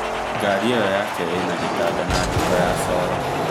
Ngari ĩyo yake ĩna gĩtanda na njiko ya sora